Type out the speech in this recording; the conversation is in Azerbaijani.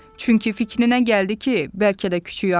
Çünki fikrinə gəldi ki, bəlkə də küçüy acdı.